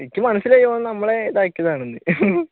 എനിക്ക് മനസിലായി ഓൻ നമ്മളെ ഇതാക്കിയതാണെന്ന്